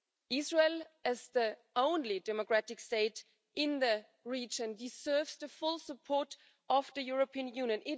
Israel, as the only democratic state in the region, deserves the full support of the European Union.